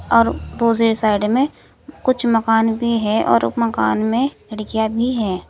और दूसरी साइड में कुछ मकान भी है और उप मकान में खिड़कियां भी है।